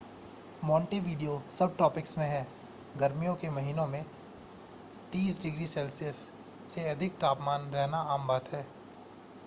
Montevideo subtropics में है गर्मियों के महीनों में + 30° c से अधिक तापमान रहना आम बात है